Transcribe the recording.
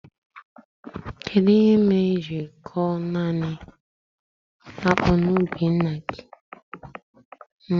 Kedụ ihe mere i jiri koo naanị akpụ na ubi ńnà gị?